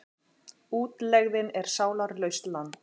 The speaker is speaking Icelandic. Útlegðin er sálarlaust land.